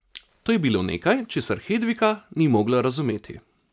To je bilo nekaj, česar Hedvika ni mogla razumeti.